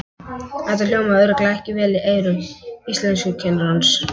Þetta hljómaði örugglega ekki vel í eyrum íslenskukennarans!